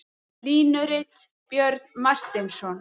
Línurit: Björn Marteinsson.